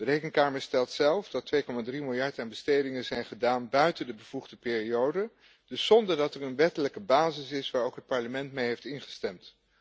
De Rekenkamer stelt zelf dat 2,3 miljard euro aan bestedingen is uitgegeven buiten de bevoegde periode, dus zonder dat er een wettelijke basis is waar ook het Parlement mee heeft ingestemd.